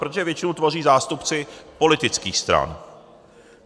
Protože většinu tvoří zástupci politických stran.